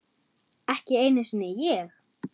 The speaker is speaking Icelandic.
Ekki einu sinni ég!